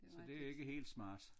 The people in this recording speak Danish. Så det ikke helt smart